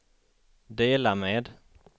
dela med